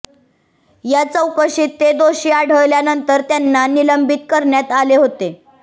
या चौकशीत ते दोषी आढळल्यानंतर त्यांना निलंबित करण्यात आले होते